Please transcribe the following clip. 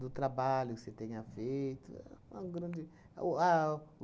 Do trabalho que você tenha feito. É uma grande, é o ao